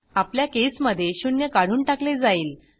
आपल्या केसमधे शून्य काढून टाकले जाईल